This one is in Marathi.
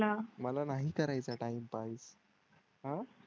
मला नाही करायचं टाइमपास. अं